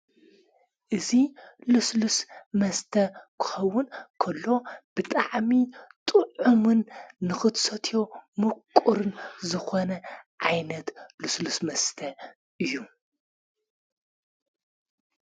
እዙይ ልስልስ መስተ ክኸውን ከሎ ብጠዕሚ ጥዑምን ንኽትሰትዮ ምቅርን ዝኾነ ዓይነት ልስሉስ መስተ እዩ::